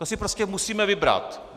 To si prostě musíme vybrat.